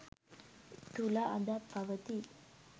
තුළ අදත් පවති යි.